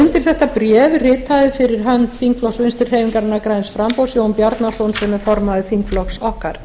undir þetta bréf ritaði fyrir hönd þingflokks vinstri hreyfingarinnar græns framboðs jón bjarnason sem er formaður þingflokks okkar